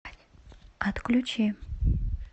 отключи